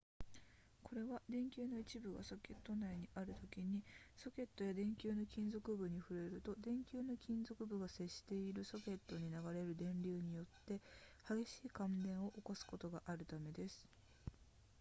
これは電球の一部がソケット内にあるときにソケットや電球の金属部に触れると電球の金属部が接しているソケットに流れる電流によって激しい感電を起こすことがあるためです